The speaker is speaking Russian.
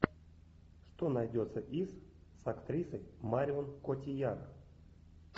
что найдется из с актрисой марион котийяр